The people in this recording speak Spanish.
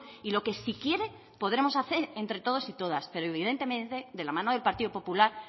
y lo que si quiere podremos hacer entre todos y todas pero evidentemente de la mano del partido popular